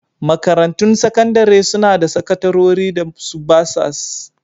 Makarantun sakandare suna da sakatarori da su basas